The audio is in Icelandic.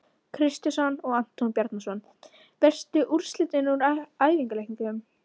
Kristjánsson og Anton Bjarnason.Veistu úrslit úr æfingaleikjum?